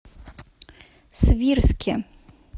свирске